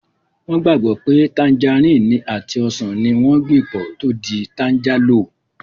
Wọ́n gbàgbọ́ pé tanjarínnì àti ọsàn ní wọ́n gbìn pọ̀ tó di tanjálò